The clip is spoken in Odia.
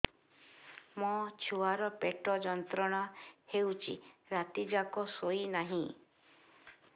ମୋ ଛୁଆର ପେଟ ଯନ୍ତ୍ରଣା ହେଉଛି ରାତି ଯାକ ଶୋଇନାହିଁ